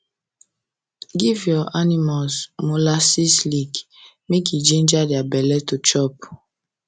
give your animals molasses lick make e e ginger their belle to chop